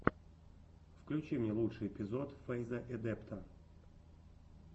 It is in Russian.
включи мне лучший эпизод фэйза эдэпта